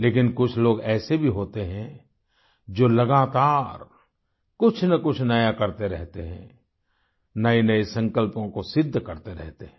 लेकिन कुछ लोग ऐसे भी होते हैं जो लगातार कुछनकुछ नया करते रहते हैं नएनए संकल्पों को सिद्ध करते रहते हैं